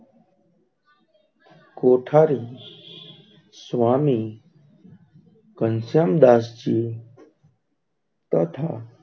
કૌઠાડી સ્વામી ઘનશ્યામ દાસ જી તથા